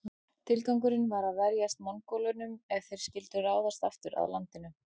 Tilgangurinn var að verjast Mongólunum ef þeir skyldu ráðast aftur að landinu.